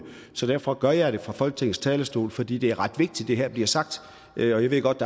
så derfor gør jeg det fra folketingets talerstol fordi det er ret vigtigt at det her bliver sagt jeg ved godt